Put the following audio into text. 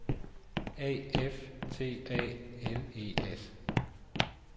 A F T A L E S